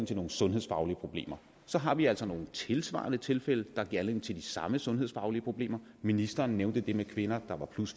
til nogle sundhedsfaglige problemer så har vi altså nogle tilsvarende tilfælde der giver anledning til de samme sundhedsfaglige problemer ministeren nævnte det med kvinder der var